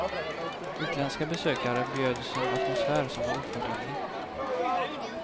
Utländska besökare bjöds en atmosfär som var oförglömlig.